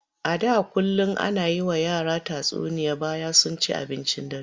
A da kullum ana yi wa yara tatsuniya bayan sun ci abincin dare.